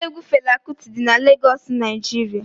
Ụlọ egwu Fela Kuti dị n'Legoosu, Naijiria